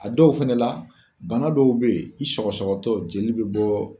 A dɔw fɛnɛ la , bana dɔw be yen i sɔgɔsɔgɔtɔ jeli be bɔ.